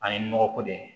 An ye nɔgɔ ko de